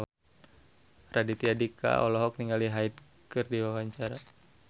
Raditya Dika olohok ningali Hyde keur diwawancara